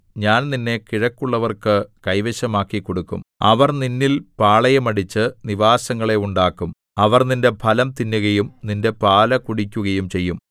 ഞാൻ നിന്നെ കിഴക്കുള്ളവർക്ക് കൈവശമാക്കിക്കൊടുക്കും അവർ നിന്നിൽ പാളയമടിച്ച് നിവാസങ്ങളെ ഉണ്ടാക്കും അവർ നിന്റെ ഫലം തിന്നുകയും നിന്റെ പാല് കുടിക്കുകയും ചെയ്യും